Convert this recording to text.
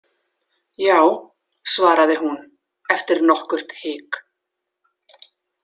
Já, svaraði hún eftir nokkurt hik.